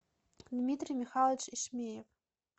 дмитрий михайлович ишмеев